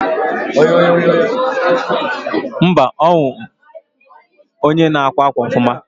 mba, onwu ndi na akwa akwa ofuma